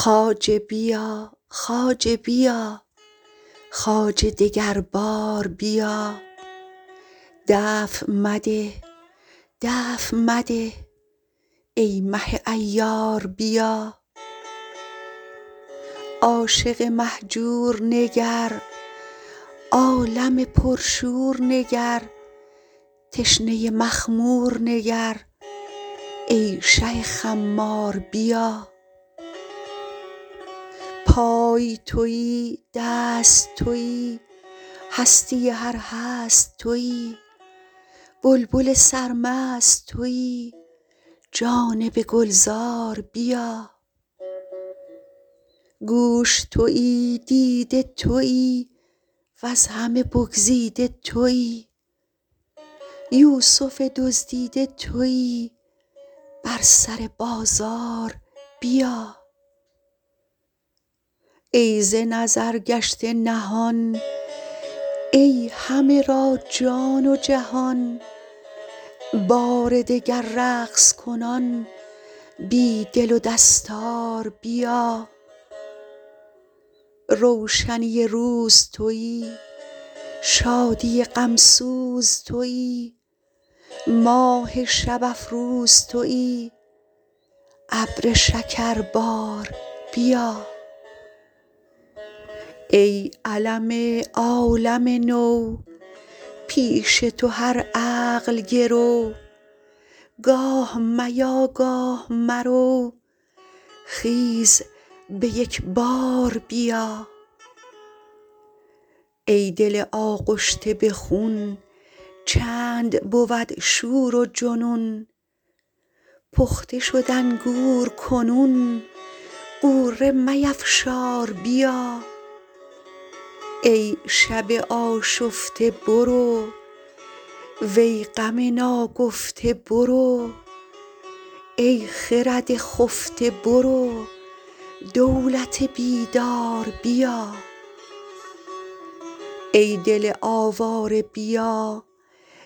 خواجه بیا خواجه بیا خواجه دگر بار بیا دفع مده دفع مده ای مه عیار بیا عاشق مهجور نگر عالم پرشور نگر تشنه مخمور نگر ای شه خمار بیا پای توی دست توی هستی هر هست توی بلبل سرمست توی جانب گلزار بیا گوش توی دیده توی وز همه بگزیده توی یوسف دزدیده توی بر سر بازار بیا ای ز نظر گشته نهان ای همه را جان و جهان بار دگر رقص کنان بی دل و دستار بیا روشنی روز توی شادی غم سوز توی ماه شب افروز توی ابر شکربار بیا ای علم عالم نو پیش تو هر عقل گرو گاه میا گاه مرو خیز به یک بار بیا ای دل آغشته به خون چند بود شور و جنون پخته شد انگور کنون غوره میفشار بیا ای شب آشفته برو وی غم ناگفته برو ای خرد خفته برو دولت بیدار بیا ای دل آواره بیا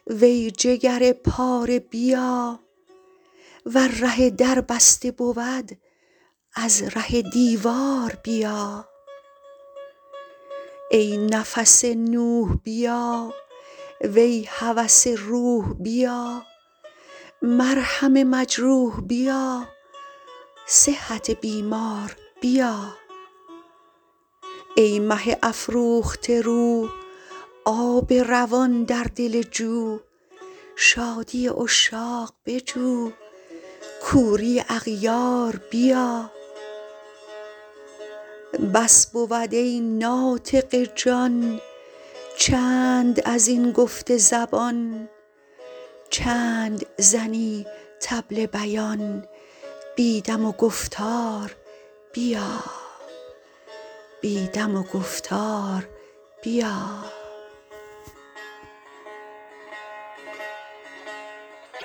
وی جگر پاره بیا ور ره در بسته بود از ره دیوار بیا ای نفس نوح بیا وی هوس روح بیا مرهم مجروح بیا صحت بیمار بیا ای مه افروخته رو آب روان در دل جو شادی عشاق بجو کوری اغیار بیا بس بود ای ناطق جان چند از این گفت زبان چند زنی طبل بیان بی دم و گفتار بیا